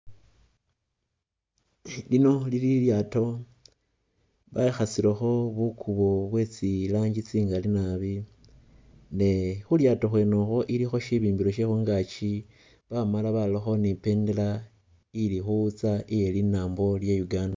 Lino lili ilyaato bekhasilekho bukubo bwe tsiranji tse'njawulo ne khulyaato khwene ukhu khulikho sibimbile she khungaaki bamaala barakho ne ibendela ili khuwutsa iye linambo lye'Uganda.